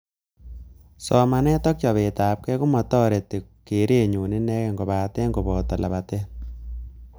Somanet ak chobetabkei komatoreti keretnyu inekei kobate koboto lapatet